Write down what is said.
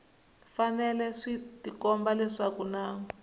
fanele swi tikomba leswaku na